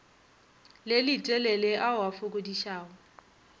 le letelele ao a fokodišago